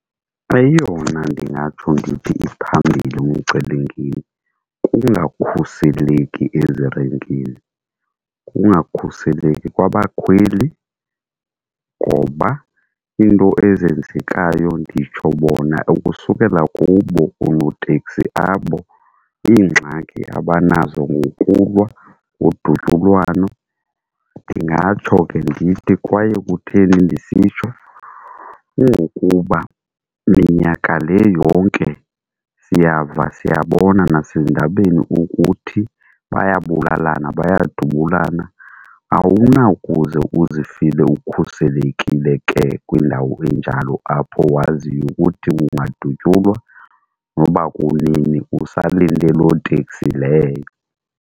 Eyona ndingatsho ndithi iphambilli ngumcelimngeni kungakhuseleki ezirenkini, kungakhuseleki kwabakhweli ngoba iinto ezenzekayo nditsho bona ukusukela kubo oonoteksi abo iingxaki abanazo ngokulwa, udutyulwano ndingatsho ke ndithi kwaye kutheni ndisitsho. Kungokuba minyaka le yonke siyava, siyabona nasezindabeni ukuthi bayabulalana bayadubulana, awunakuze uzifile ukhuselekile ke kwindawo enjalo apho waziyo ukuthi ungadutyulwa noba kunini usalinde loo teksi leyo.